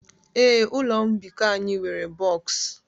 Ee, ụlọ mbikọ anyị nwere boks